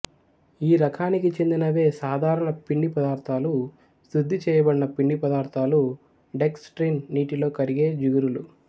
ఈ రకానికి చెందినవే సాధారణ పిండి పదార్ధాలు శుద్ధి చేయబడిన పిండి పదార్ధాలు డెక్స్ ట్రిన్ నీటిలో కరిగే జిగురులు